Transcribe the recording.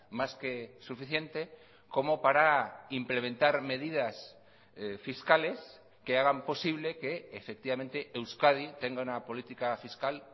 más que suficiente como para implementar medidas fiscales que hagan posible que efectivamente euskadi tenga una política fiscal